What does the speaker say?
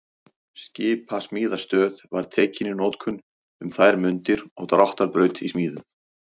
Skipasmíðastöð var tekin í notkun um þær mundir og dráttarbraut í smíðum.